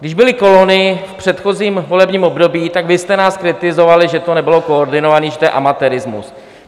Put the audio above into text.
Když byly kolony v předchozím volebním období, tak vy jste nás kritizovali, že to nebylo koordinované, že to je amatérismus.